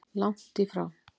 Langt í frá.